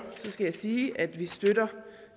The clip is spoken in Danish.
så skal jeg sige at vi støtter